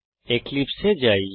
এক্লিপসে এ যাই